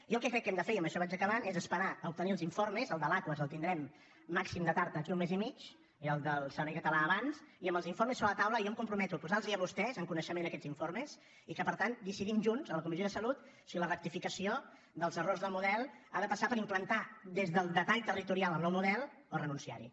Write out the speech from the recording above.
jo el que crec que hem de fer i amb això vaig acabant és esperar a obtenir els informes el de l’aquas el tindrem com màxim de tard d’aquí a un mes i mig i el del servei català abans i amb els informes sobre la taula jo em comprometo a posar los a vostès en coneixement d’aquests informes i que per tant decidim junts a la comissió de salut si la rectificació dels errors del model ha de passar per implantar des del detall territorial el nou model o renunciar hi